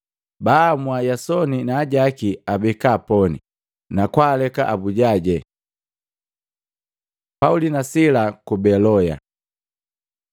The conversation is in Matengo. Baamua Yasoni naajaki abeka poni, na kwaaleka abujaje. Pauli na Sila ku Beloya